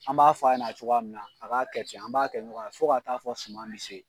An b'a fɔ a ɲana cogoya min na a k'a kɛ ten an b'a kɛ ɲɔgɔn ye fo ka taa fɔ suma bi se.